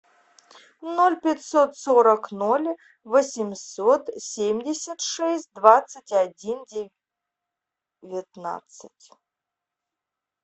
ноль пятьсот сорок ноль восемьсот семьдесят шесть двадцать один девятнадцать